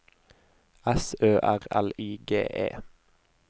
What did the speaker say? S Ø R L I G E